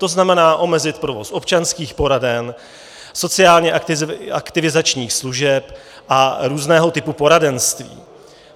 To znamená omezit provoz občanských poraden, sociálně aktivizačních služeb a různého typu poradenství.